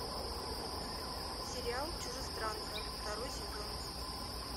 сериал чужестранка второй сезон